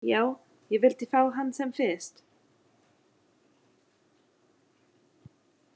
Já, ég vildi fá hann sem fyrst.